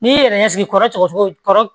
N'i y'i yɛrɛ ɲɛ sigi kɔrɔsogo kɔrɔ